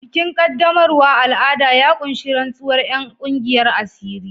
Bikin qaddamarwa al'ada ya ƙunshi rantsuwar 'yan kungiyar asiri.